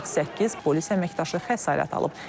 48 polis əməkdaşı xəsarət alıb.